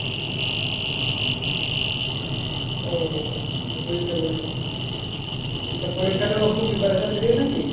ও বুঝতে পেরেছি তো পরীক্ষা তো preparation নিলি না কি?